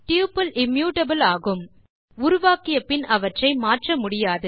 tuples immutable ஆகும் உருவாக்கிய பின் அவற்றை மாற்ற முடியாது